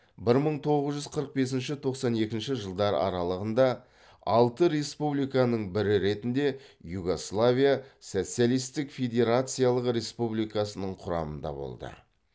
бір мың тоғыз жүз қырық бесінші тоқсан екінші жылдар аралығында алты республиканың бірі ретінде югославия социалистік федерациялық республикасының құрамында болды